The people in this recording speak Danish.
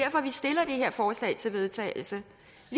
her forslag til vedtagelse